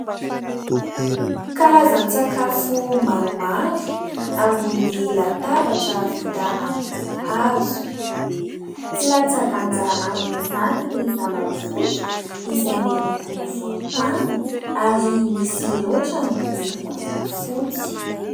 Karazan-tsakafo maromaro ambony latabatra vita amin'ny hazo, tsy latsa-danja amin'izany ny zava-pisotro izay miloko volontany ary misy raotrany miloko fotsy.